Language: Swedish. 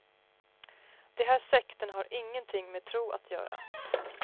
De här sekterna har ingenting med tro att göra.